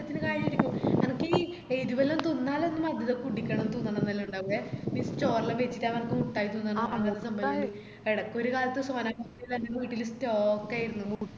ഈ എരുവെല്ലാം തിന്നലെല്ലാം മധുരം കുടിക്കണം തിന്നണംന്നെല്ലാം ഇണ്ടാവ്എ ഈ ചോറെല്ലാം വെയിച്ചിറ്റാവുമ്പോ മുട്ടായി തിന്നണം ന്ന് എടക്കൊരു കാലത്ത് sona pappadi തന്നെ വീട്ടില് stock ആയിരുന്നു